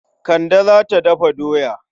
Kande za ta dafa doya.